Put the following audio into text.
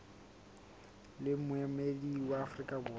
le moemedi wa afrika borwa